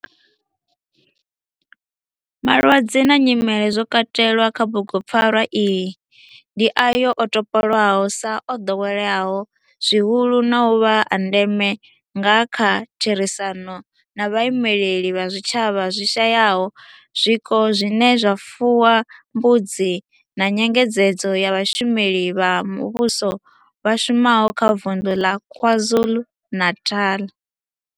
Malwadze na nyimele zwo katelwaho kha bugupfarwa iyi ndi ayo o topolwaho sa o doweleaho zwihulu na u vha a ndeme nga kha therisano na vhaimeleli vha zwitshavha zwi shayaho zwiko zwine zwa fuwa mbudzi na nyengedzedzo ya vhashumeli vha muvhusho vha shumaho kha Vundu la KwaZulu-Natal.